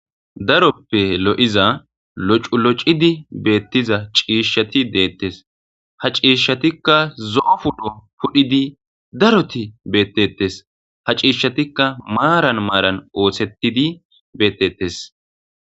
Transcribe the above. daroppe lo7iza locu locidi beettiza ciishshati deettes ha ciishshatikka zo7o pudho pudhidi daroti beettettes ha ciishshatikka maaran maaran ooththettidi beettettes